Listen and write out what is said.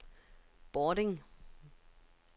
Bording